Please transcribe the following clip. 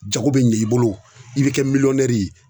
Jago be ɲɛ i bolo o i be kɛ miliyɔnnɛri ye